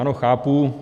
Ano, chápu.